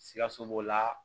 Sikaso b'o la